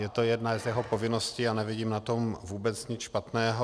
Je to jedna z jeho povinností a nevidím na tom vůbec nic špatného.